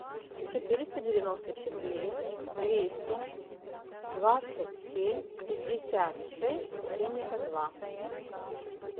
четыреста девяносто четыре двести двадцать семь пятьдесят шесть семьдесят два